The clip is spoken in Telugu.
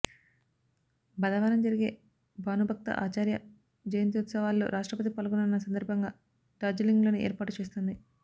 బధవారం జరిగే భానుభక్త ఆచార్య జయంత్యుత్సవాల్లో రాష్ట్రపతి పాల్గొననున్న సందర్భంగా డార్జిలింగ్లోని ఏర్పాటు చేస్తోంది